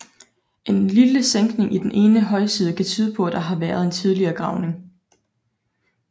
En lille sænkning i den ene højside kan tyde på at der har været en tidligere gravning